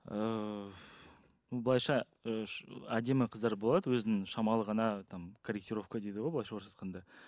ыыы былайыншы ы әдемі қыздар болады өзінің шамалы ғана там корретировка дейді ғой былайынша орысша айтқанда